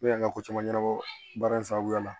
Ne y'an ka ko caman ɲɛnabɔ baara in sababuya la